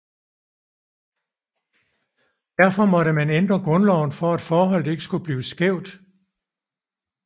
Derfor måtte man ændre grundloven for at forholdet ikke skulle blive skævt